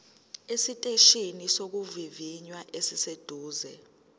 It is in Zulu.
esiteshini sokuvivinya esiseduze